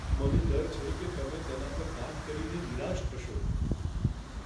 મને ડર છે કે તમે તેના પર કામ કરીને નિરાશ થશો.